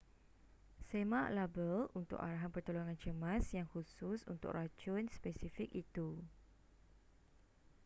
semak label untuk arahan pertolongan cemas yang khusus untuk racun spesifik itu